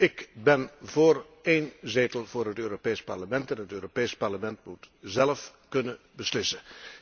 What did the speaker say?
Ik ben voor één zetel voor het Europees Parlement en het Europees Parlement moet zélf kunnen beslissen.